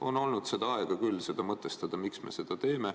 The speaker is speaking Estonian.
On olnud küll aega mõtestada, miks me seda teeme.